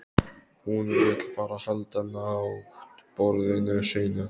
Hún vill bara halda náttborðinu sínu.